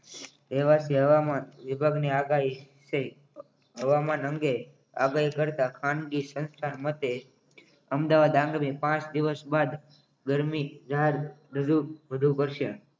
તેવા કહેવામાં હવામાન વિભાગની આગાહી છે હવામાન અંગે આગાહી કરતા ખાનગી સંસ્થા વંદે અમદાવાદ આગામી પાંચ દિવસ બાદ ગરમી જાહેર વધુ વધુ પડશે